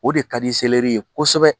O de ka di ye kosɛbɛ